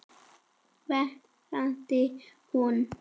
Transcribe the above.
veinaði hún.